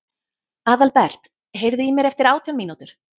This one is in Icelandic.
Aðalbert, heyrðu í mér eftir átján mínútur.